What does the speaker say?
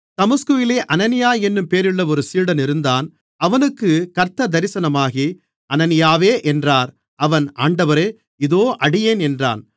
தமஸ்குவிலே அனனியா என்னும் பேருள்ள ஒரு சீடன் இருந்தான் அவனுக்குக் கர்த்தர் தரிசனமாகி அனனியாவே என்றார் அவன் ஆண்டவரே இதோ அடியேன் என்றான்